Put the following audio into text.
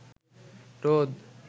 রোদ